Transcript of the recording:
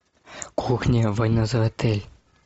кухня война за отель